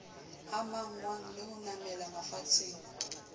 amanngwang le ho namela mafatsheng